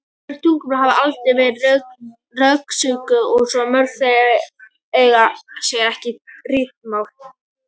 Mörg tungumál hafa aldrei verið rannsökuð og mörg þeirra eiga sér ekki ritmál.